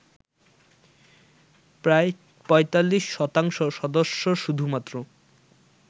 প্রায় ৪৫ শতাংশ সদস্য শুধুমাত্র